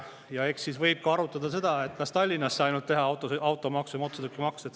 Ja eks siis võib arutada ka seda, kas ainult tallinlastest teha automaksu maksjad.